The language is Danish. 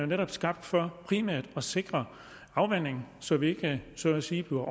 netop skabt for primært at sikre afvanding så vi ikke så at sige bliver